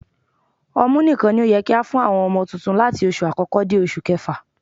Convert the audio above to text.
Ọmú nìkan ni ó yẹ kí á fún àwọn ọmọ tuntun láti oṣù àkọ́kọ́ dé oṣù kẹfà